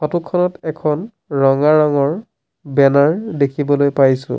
Photo খনত এখন ৰঙা ৰঙৰ বেনাৰ দেখিবলৈ পাইছোঁ।